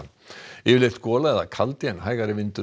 yfirleitt gola eða kaldi en hægari vindur